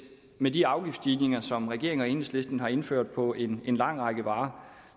med de afgiftsstigninger som regeringen og enhedslisten har indført på en lang række varer